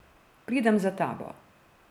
Pridem za tabo.